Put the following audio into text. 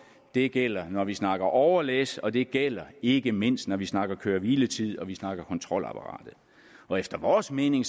det gælder når vi snakker overlæs og det gælder ikke mindst når vi snakker køre hvile tid og vi snakker kontrolapparat efter vores mening